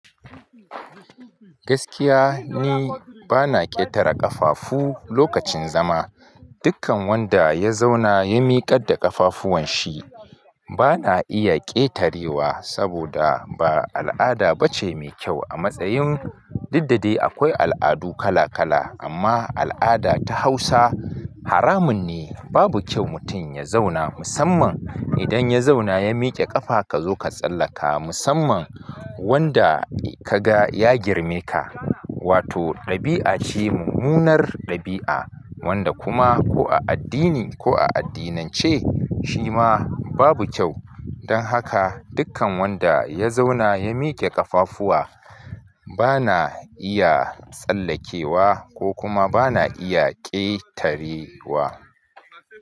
Gaskiya ni ba na ƙetare ƙafafu lokacin zama. Dukkan wanda ya zauna ya miƙar da ƙafafuwan shi ba na iya ƙetarewa saboda ba al'ada bace mai kyau a matsayin duk da dai akwai al'adu kala kala amma al'ada ta hausa haramun ne babu kyau mutum ya zauna musamman idan ya zauna ya miƙe ƙafa ka zo ka tsallaka musamman wanda kaga ya girme ka. Wato ɗabi'a ce mummunar ɗabi'a wanda kuma ko a addini ko a addinance shi ma babu kyau. Don haka dukkan wanda ya zauna ya miƙe ƙafafuwa ba na iya tsallakewa ko kuma ba na iya ƙetarewa.